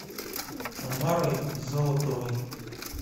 тамарой золотовой